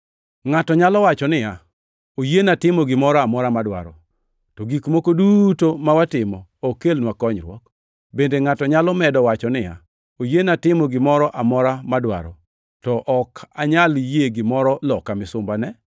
Ngʼato nyalo wacho niya, “Oyiena timo gimoro amora madwaro,” to gik moko duto ma watimo ok kelnwa konyruok. Bende ngʼato nyalo medo wacho niya, “Oyiena timo gimoro amora madwaro,” to ok anyal yie gimoro loka misumbane.